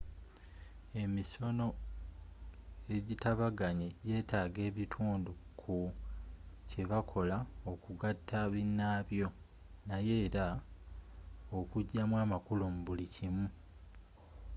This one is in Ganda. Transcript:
emisono ejitabaganye jeetaga ebitundu ku kyebakola okugata binaabyo naye era okujamu amakulu mu buli kimu